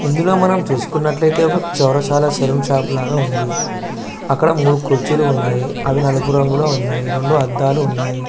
ఇందులో మనం చూసుకున్నట్లైతే చౌరస్తా లో సలోన్ షాప్ లాగా ఉంది అక్కడ మూడు కుర్చీలు ఉన్నాయి అవి నలుపు రంగులో ఉన్నాయి రెండు అద్దాలు ఉన్నాయి.